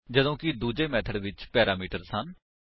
ਜਦੋਂ ਕਿ ਦੂੱਜੇ ਮੇਥਡ ਵਿੱਚ ਪੈਰਾਮੀਟਰਸ ਹਨ